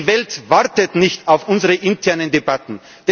Die Welt wartet nicht auf unsere internen Debatten!